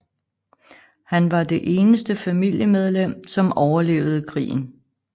Han var det eneste familiemedlem som overlevede krigen